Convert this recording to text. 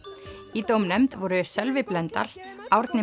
í dómnefnd voru Sölvi Blöndal Árni